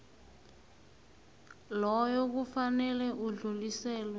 loyo kufanele udluliselwe